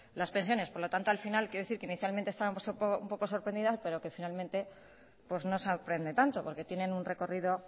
las pensiones por lo tanto al final quiero decir que inicialmente estábamos un poco sorprendidos pero que finalmente pues no sorprende tanto porque tienen un recorrido